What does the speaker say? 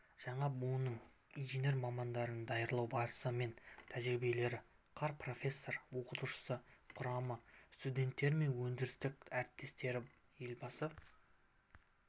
жаңа буынның инженер мамандарын даярлау барысы мен нәтижелері қар профессор-оқытушылар құрамы студенттері мен өндірістік әріптестері елбасы